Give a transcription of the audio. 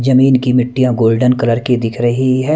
जमीन की मिट्टियां गोल्डन कलर की दिख रही है।